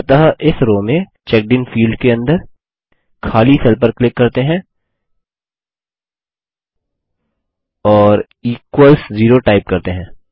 अतः इस रो में चेकडिन फील्ड के अंदर खाली सेल पर क्लिक करते हैं और इक्वल्स ज़ेरो टाइप करते हैं